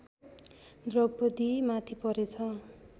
द्रौपदी माथि परेछ